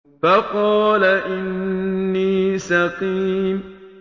فَقَالَ إِنِّي سَقِيمٌ